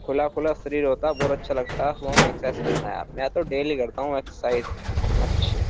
खुला खुला शरीर होता है पूरा अच्छा लगता है सुबह में एक्साइज करना यार। मैं तो डेली करता हूँ एक्साइज अच्छा --